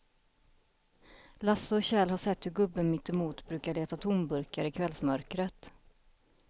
Lasse och Kjell har sett hur gubben mittemot brukar leta tomburkar i kvällsmörkret.